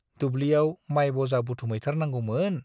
दुब्लियाव माइ बजा बुथुमहैथारनांगौमोन।